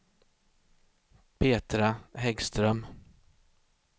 Petra Häggström